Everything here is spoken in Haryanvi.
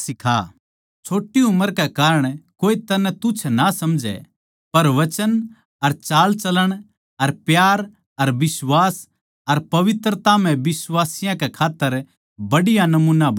छोट्टी उम्र के कारण कोए तन्नै तुच्छ ना समझै पर वचन अर चालचलण अर प्यार अर बिश्वास अर पवित्रता म्ह बिश्वासियाँ कै खात्तर बढ़िया नमूना बण जा